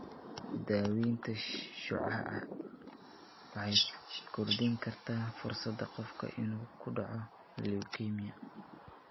Daaweynta shucaaca waxay kordhin kartaa fursadda qofka inuu ku dhaco leukemia.